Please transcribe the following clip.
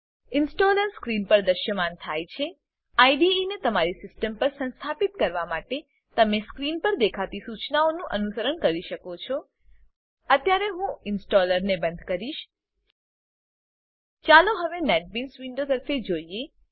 installer screen પર દૃશ્યમાન થાય છે આઇડીઇ ને તમારી સીસ્ટમ પર સંસ્થાપિત કરવા માટે તમે સ્ક્રીન પર દેખાતી સૂચનાઓનું અનુસરણ કરી શકો છો અત્યારે હું ઇન્સ્ટોલરને બંધ કરીશ ચાલો હવે નેટબીન્સ વિન્ડો તરફે જોઈએ